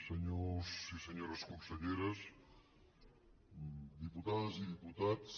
senyors i senyores conselleres diputades i diputats